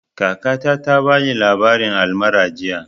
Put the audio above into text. Kakata ta bani labarin almara jiya